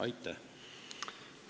Aitäh!